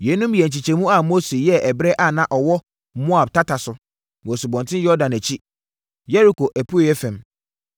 Yeinom yɛ nkyekyɛmu a Mose yɛɛ ɛberɛ a na ɔwɔ Moab tata so, wɔ Asubɔnten Yordan akyi, Yeriko apueeɛ fam.